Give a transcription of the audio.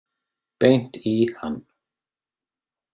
Beint í hann.